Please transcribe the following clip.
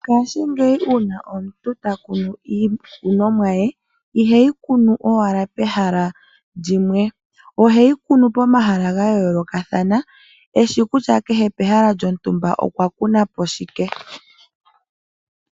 Ngashingeyi una omuntu ta kunu iikunomwa ye, iheyi kunu owala pehala lyimwe, oheyi kunu pomahala ga yoolokathana, eshi kutya kehe pehala lyontumba okwa kunapo shike.